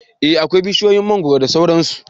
Eh akwai bishiyoyin mangwaro da sauran su